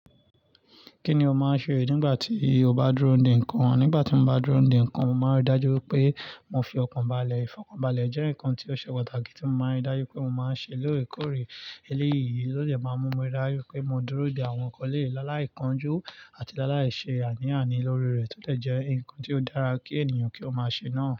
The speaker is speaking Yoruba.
Kí ni o máa ń ṣe nígbà tí o bá dúró de ǹkan? Nígbà tí mo bá dúró de ǹkan, mo màá rí dájú pé mo fi ọkàn balẹ̀. Ìfọkànbalẹ̀ jẹ́ ǹkan tí ó ṣe pàtàkì tí mo máa ń rí dájú pé mo máa ń ṣe lóòókòrè. Eléyìí ló dẹ̀ máa mú mi rí dájú pé mo dúró de àwọn ǹkan lé láláìkánjú àti láláìṣe àníyàn ni lórí rẹ̀ tó tẹ̀ jẹ́ ǹkan tí ó dára kí ènìyàn kí ó máa ṣe náà.